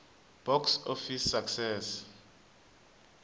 box office success